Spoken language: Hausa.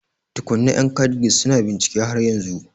Tukunna, yan KADGIS su na bincike har yanzu